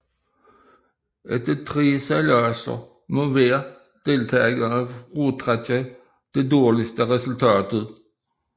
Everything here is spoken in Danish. Efter tre sejladser må hver deltager fratrække det dårligste resultat